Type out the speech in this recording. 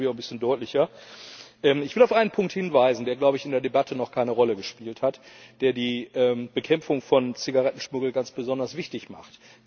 Dann wird das, glaube ich, auch ein bisschen deutlicher. Ich will auf einen Punkt hinweisen, der in der Debatte noch keine Rolle gespielt hat, der die Bekämpfung von Zigarettenschmuggel ganz besonders wichtig macht.